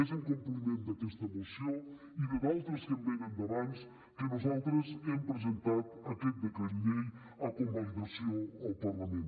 és en compliment d’aquesta moció i d’altres que venen d’abans que nosaltres hem presentat aquest decret llei a convalidació al parlament